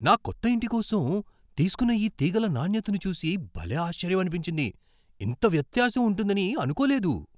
నా కొత్త ఇంటి కోసం తీసుకున్న ఈ తీగల నాణ్యతను చూసి భలే ఆశ్చర్యమనిపించింది. ఇంత వ్యత్యాసం ఉంటుందని అనుకోలేదు!